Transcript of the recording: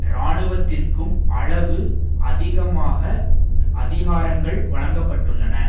இராணுவத்திற்கும் அளவுக்கு அதிகமான அதிகாரங்கள் வழங்கப்பட்டுள்ளன